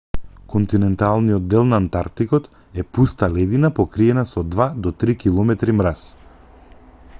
континенталниот дел на антартикот е пуста ледина покриена со 2-3 км мраз